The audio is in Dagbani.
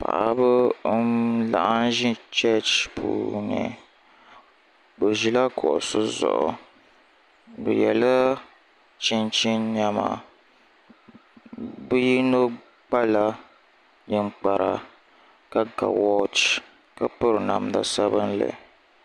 Paɣiba n-laɣim ʒi cheechi puuni bɛ ʒila kuɣisi zuɣu bɛ yɛla chinchini nɛma bɛ yino kpala ninkpara ka ga wɔɔchi ka piri namd' sabinli